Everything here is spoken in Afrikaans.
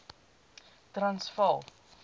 transvaal